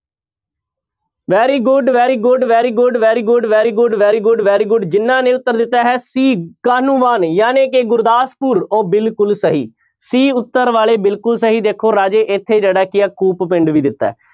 Very good, very good, very good, very good, very good, very good, very good ਜਿਹਨਾਂ ਨੇ ਉੱਤਰ ਦਿੱਤਾ ਹੈ c ਕਾਹਨੂੰਵਾਨ ਜਾਣੀਕਿ ਗੁਰਦਾਸਪੁਰ, ਉਹ ਬਿਲਕੁੁਲ ਸਹੀ c ਉੱਤਰ ਵਾਲੇ ਬਿਲਕੁਲ ਸਹੀ ਦੇਖੋ ਰਾਜੇ ਇੱਥੇ ਜਿਹੜਾ ਕੀ ਹੈ ਕੂਪ ਪਿੰਡ ਵੀ ਦਿੱਤਾ ਹੈ।